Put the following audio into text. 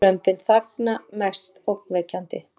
Lömbin þagna mest ógnvekjandi